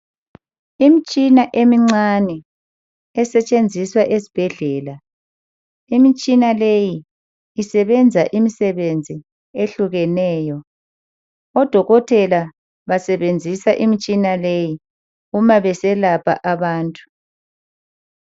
Imitshina emincane esetshenziswa esibhedlela. Imitshina leyi, isebenza imisebenzi ehlukeneyo. Odokotela basebenzisa imitshina leyi uma beselapha abantu.